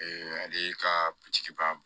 ale ka bitigi ba b